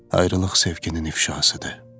Ayrılıq sevginin ifşasıdır.